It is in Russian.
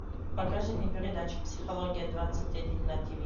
покажи мне передачу психология двадцать один на тв